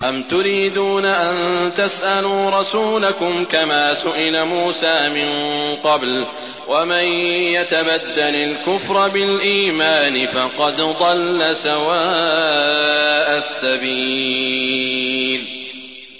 أَمْ تُرِيدُونَ أَن تَسْأَلُوا رَسُولَكُمْ كَمَا سُئِلَ مُوسَىٰ مِن قَبْلُ ۗ وَمَن يَتَبَدَّلِ الْكُفْرَ بِالْإِيمَانِ فَقَدْ ضَلَّ سَوَاءَ السَّبِيلِ